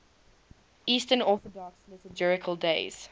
eastern orthodox liturgical days